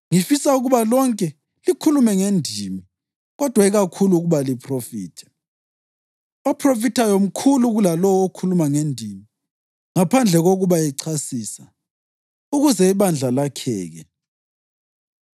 Ngifisa ukuba lonke likhulume ngendimi kodwa ikakhulu ukuba liphrofithe. Ophrofithayo mkhulu kulalowo okhuluma ngendimi, ngaphandle kokuba echasisa, ukuze ibandla lakheke.